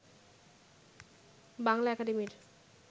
বাংলা একাডেমির